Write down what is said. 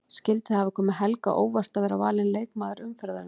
Skyldi það hafa komið Helga á óvart að vera valinn leikmaður umferðarinnar?